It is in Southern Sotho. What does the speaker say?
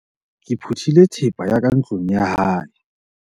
ke phuthile thepa ya ka ntlong ya hae